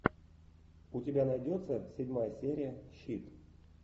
у тебя найдется седьмая серия щит